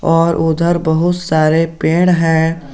और उधर बहुत सारे पेड़ है।